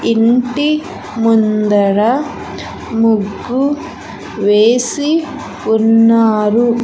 ఇంటి ముందర ముగ్గు వేసి ఉన్నారు.